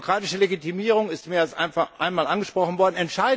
Die demokratische Legitimierung ist mehr als einmal angesprochen worden.